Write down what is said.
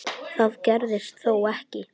Það gerðist þó ekki.